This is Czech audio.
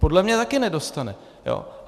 Podle mě taky nedostane.